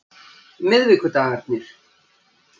miðvikudagarnir